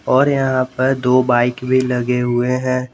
और यहां पर दो बाइक भी लगे हुए हैं।